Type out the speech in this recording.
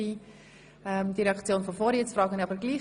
Es gab da ein Missverständnis.